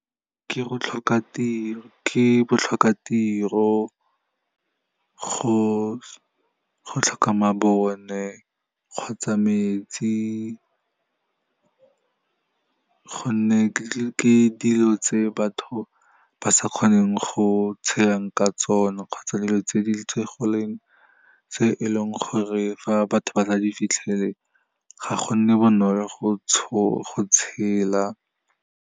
Ke botlhokatiro, go tlhoka mabone kgotsa metsi, go nne ke dilo tse batho ba sa kgoneng go tshelang ka tsone, kgotsa dilo tse e leng gore fa batho ba sa di fitlhelele ga go nne bonolo go tshela.